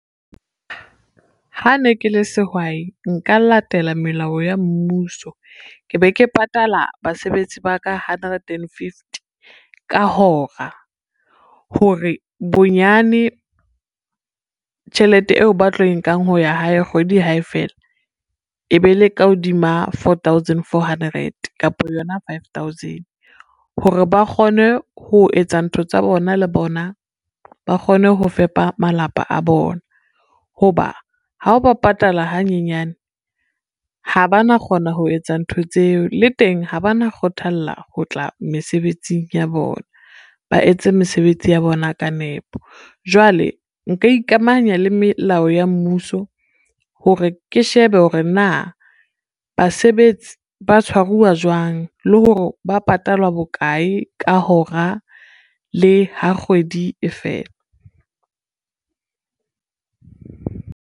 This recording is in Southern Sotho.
Ha ne ke le sehwai nka latela melao ya mmuso, ke be ke patala basebetsi ba ka hundred and fifty ka hora, hore bonyane tjhelete eo ba tlo e nkang ho ya hae kgwedi ha e fela e be le ka hodima four thousand, four hundred kapa yona five thousand, hore ba kgone ho etsa ntho tsa bona le bona, ba kgone ho fepa malapa a bona. Ho ba ha o ba patala hanyenyane, ha ba na kgona ho etsa ntho tseo le teng ha ba na kgothalla ho tla mesebetsing ya bona, ba etse mesebetsi ya bona ka nepo. Jwale nka ikamahanya le melao ya mmuso hore ke shebe hore na basebetsi ba tshwaruwa jwang, le hore ba patalwa bokae ka hora le ha kgwedi e fela.